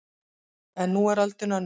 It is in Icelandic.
En nú er öldin önnur